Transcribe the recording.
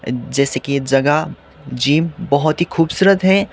जैसे की ये जगह जिम बहोत ही खूबसूरत है।